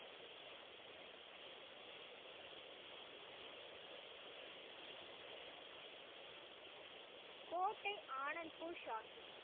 கோட்டை ஆனந்த்பூர் சாஹிப்.